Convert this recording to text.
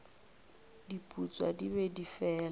diputswa di be di fela